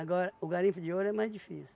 o garimpo de ouro é mais difícil.